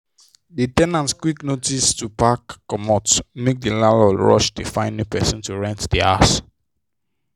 the ten ant quick notice to pack comot make the landlord rush dey find new person to rent the house.